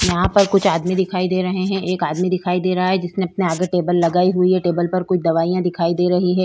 यहाँ पर कुछ आदमी दिखाई दे रहे हैं एक आदमी दिखाई दे रहा है जिसने अपने आगे टेबल लगाई हुई है टेबल पर कुछ दवाइयां दिखाई दे रही है।